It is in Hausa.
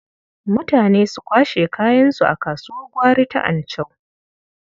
Mutane su kwashe kayansu a kasuwar gwari ta Anchau.